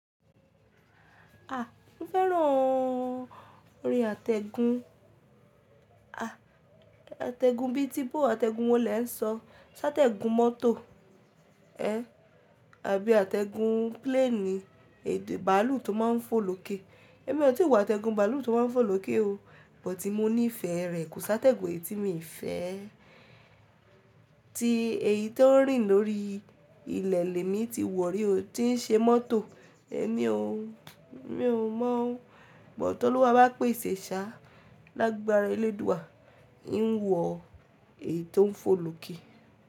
A, mo fẹ́ràn orí àtẹ̀gùn, àtẹ̀gùn bí i tí bó àtẹ̀gùn wọlé ń sọ, ṣátẹ̀gùn mọ́tò ẹ́ àbí àtẹ̀gùn pílénì, èdè bàálù tó máa ń fò lókè. Èmi ò tí wọ àtẹ̀gùn bàálù tó máa ń fò lókè o, bọ̀ tí mo nífẹ̀ẹ́ rẹ̀ kò sá tẹ̀gùn èyí tí mo nífẹ̀ẹ́. Tí èyí tó ń rìn lórí ilẹ̀ lẹ́mi ti wọ̀ rí o, tí ń ṣe mọ́tò ẹmí o, mi ò mọ̀. Ìbọ̀ tọ́lúwa bá pèsè ṣá lágbarà eléèdúà, n wọ èyí tó ń fò lókè.